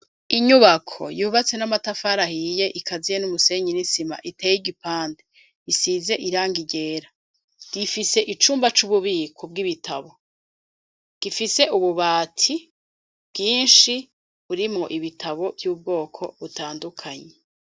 Inyubako yubatse n'amatafari ahiye ikaziye n'umusenyi ni sima iteye igipande isize irangi ryera yifise icumba c'ububiko bw'ibitabo ,gifise ububati bwinshi burimwo ibitabo vy'ubwoko butandukanye .